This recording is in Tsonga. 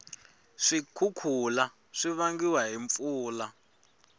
swikhukhula swivangiwa hhi mpfula